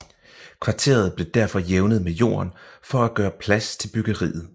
Kvarteret blev derfor jævnet med jorden for at gøre plads til byggeriet